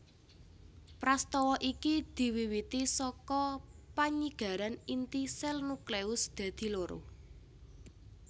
Prastawa iki diwiwiti saka panyigaran inti sèl nucleus dadi loro